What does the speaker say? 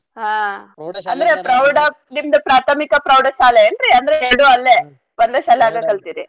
ಹಾ ಅಂದ್ರೆ ಪ್ರೌಢದಿಂದ ಪ್ರಾಥಮಿಕ ಪ್ರೌಢಶಾಲೆ ಏನ್ರೀ ಅಂದ್ರ ಎರ್ಡೂ ಅಲ್ಲೇ ಒಂದ ಶಾಲ್ಯಾಗ ಕಲ್ತೀರಿ .